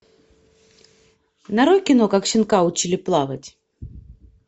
нарой кино как щенка учили плавать